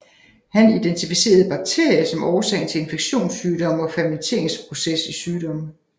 Han identificerede bakterier som årsagen til infektionssygdomme og fermenteringsprocess i sygdomme